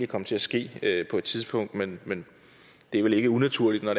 komme til at ske på et tidspunkt men men det er vel ikke unaturligt når